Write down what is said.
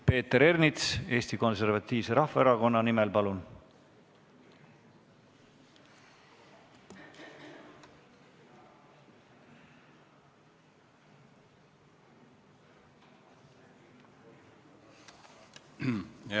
Peeter Ernits Eesti Konservatiivse Rahvaerakonna nimel, palun!